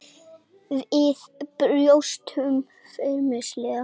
Við brostum feimnislega.